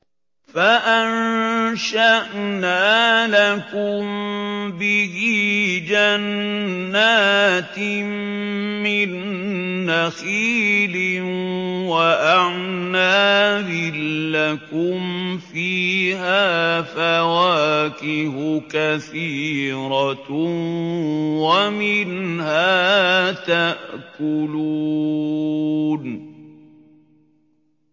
فَأَنشَأْنَا لَكُم بِهِ جَنَّاتٍ مِّن نَّخِيلٍ وَأَعْنَابٍ لَّكُمْ فِيهَا فَوَاكِهُ كَثِيرَةٌ وَمِنْهَا تَأْكُلُونَ